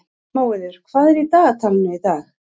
Móeiður, hvað er í dagatalinu í dag?